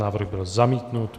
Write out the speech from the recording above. Návrh byl zamítnut.